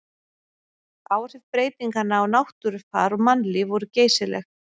Áhrif breytinganna á náttúrufar og mannlíf voru geysileg.